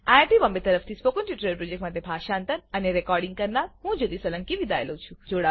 iit Bombay તરફથી spoken tutorial project માટે ભાષાંતર કરનાર હું જ્યોતી સોલંકી વિદાય લઉં છું